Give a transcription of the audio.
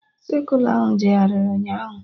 Sekụla ahụ jegharị ụnyaahụ